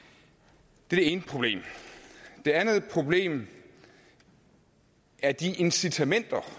det er det ene problem det andet problem er de incitamenter